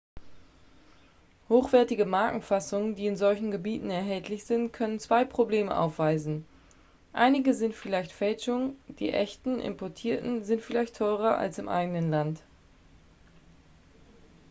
hochwertige markenfassungen die in solchen gebieten erhältlich sind können zwei probleme aufweisen einige sind vielleicht fälschungen die echten importierten sind vielleicht teurer als im eigenen land